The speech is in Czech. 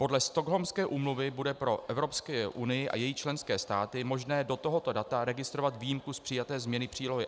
Podle Stockholmské úmluvy bude pro Evropskou unii a její členské státy možné do tohoto data registrovat výjimku z přijaté změny přílohy